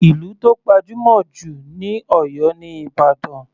Ìlú tó gbajúmọ̀ jù ní Oyo ni Ìbàdàn.